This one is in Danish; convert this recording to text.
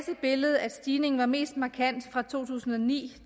billedet at stigningen var mest markant fra to tusind og ni til